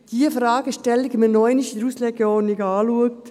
»– in der Auslegeordnung noch einmal anschaut.